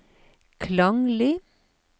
klanglig